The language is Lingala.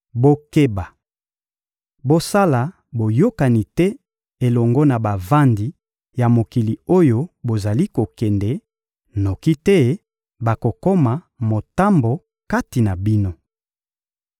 Bokeba! Bosala boyokani te elongo na bavandi ya mokili oyo bozali kokende, noki te bakokoma motambo kati na bino!